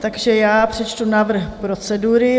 Takže já přečtu návrh procedury: